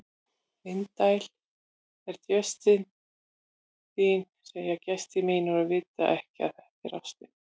Indæl er jurtin þín segja gestir mínir og vita ekki að þetta er ástin.